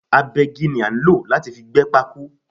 Agbẹ́gi ni a nlo láti fi gbé pákó